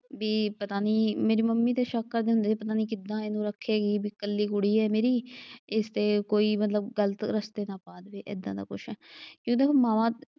ਬਈ ਪਤਾ ਨਈਂ ਮੇਰੇ ਮੰਮੀ ਤੇ ਸ਼ੱਕ ਕਰਦੇ ਹੁੰਦੇ, ਪਤਾ ਨਈਂ ਕਿੱਦਾਂ ਇਹਨੂੰ ਰੱਖੇਗੀ ਬਈ ਕੱਲੀ ਕੁੜੀ ਆ ਮੇਰੀ, ਇਸਤੇ ਕੋਈ ਮਤਲਬ ਗ਼ਲਤ ਰਸਤੇ ਨਾ ਪਾ ਦਵੇ, ਏਦਾਂ ਦਾ ਕੁਛ ਜਦੋਂ ਕਿ ਮਾਵਾਂ,